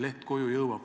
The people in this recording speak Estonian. Tänan küsimuse eest!